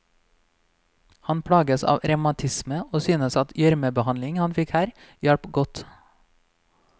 Han plages av revmatisme og syntes at gjørmebehandlingen han fikk her, hjalp godt.